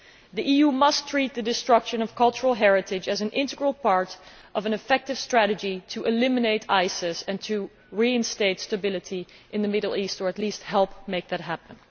The EU must treat the destruction of cultural heritage as an integral part of an effective strategy to eliminate ISIS and to reinstate stability in the Middle East, or at least help make that happen.